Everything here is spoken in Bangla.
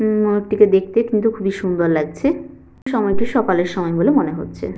উ ময়ূরটিকে দেখতে কিন্তু খুব সুন্দর লাগছে। সময়টি সকালের সময় বলে মনে হচ্ছে।